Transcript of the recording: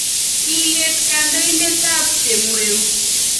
Kileet kantointeetaab chemweu